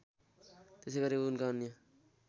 त्यसैगरी उनका अन्य